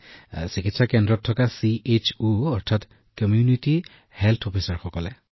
হয় কল্যাণ কেন্দ্ৰত বাস কৰা চিএইচঅ কমিউনিটি হেল্থ অফিচাৰ